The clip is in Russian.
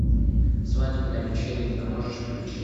свадебная вечеринка можешь включить